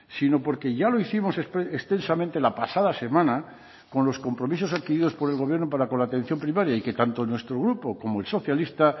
sino porque ya lo hicimos extensamente la pasada semana con los compromisos adquiridos por el gobierno para con la atención primaria y que tanto nuestro grupo como el socialista